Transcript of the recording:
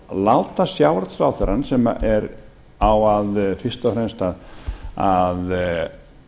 að láta sjávarútvegsráðherrann sem á fyrst og fremst að